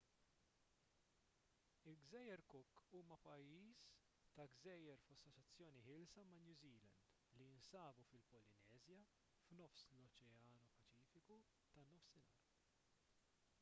il-gżejjer cook huma pajjiż ta' gżejjer f'assoċjazzjoni ħielsa ma' new zealand li jinsabu fil-polineżja f'nofs l-oċean paċifiku tan-nofsinhar